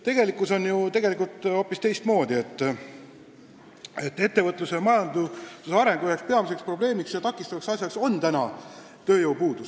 Tegelikkuses on ju hoopis nii, et ettevõtluse, majanduse arengu peamisi takistusi on tööjõupuudus.